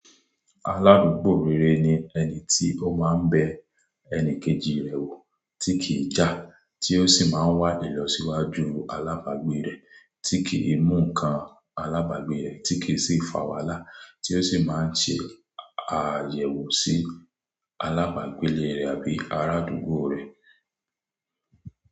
Aládùúgbò rere ni ẹni tí ó máa ń bẹ ẹni kejì rẹ̀ wò tí kì í já, tí ó sì máa ń wádìí lọ síwájú alábagbé rẹ̀, tí kì í mú ǹkan alábagbé rẹ̀, tí kì í sì fà wàhálà, tí ó sì máa ń ṣe àyẹ̀wò sí alábagbé rẹ̀ àbí arádúgbò rẹ̀.